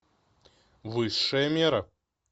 высшая мера